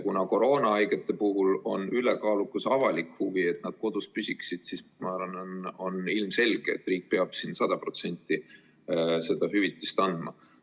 Kuna koroonahaigete puhul on aga ülekaalukas avalik huvi, et nad kodus püsiksid, siis ma arvan, et on ilmselge, et riik peab 100% ulatuses selle hüvitise maksma.